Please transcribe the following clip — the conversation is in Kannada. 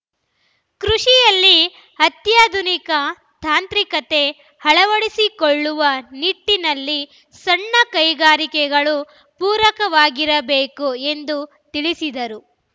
ಕೃಷಿಯಲ್ಲಿ ಅತ್ಯಾಧುನಿಕ ತಾಂತ್ರಿಕತೆ ಅಳವಡಿಸಿಕೊಳ್ಳುವ ನಿಟ್ಟಿನಲ್ಲಿ ಸಣ್ಣ ಕೈಗಾರಿಕೆಗಳು ಪೂರಕವಾಗಿರಬೇಕು ಎಂದು ತಿಳಿಸಿದರು